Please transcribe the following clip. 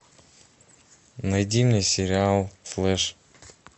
найди мне сериал флэш